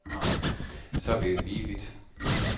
Så er vi lige vidt.